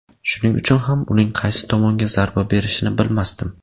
Shuning uchun ham uning qaysi tomonga zarba berishini bilmasdim.